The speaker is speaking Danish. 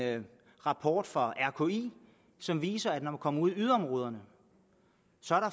rapport fra rki som viser at der når man kommer ud i yderområderne